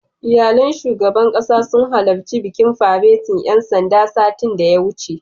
Iyalan shugaban ƙasa sun halarci bikin faretin ƴan sandan, satin da ya wuce.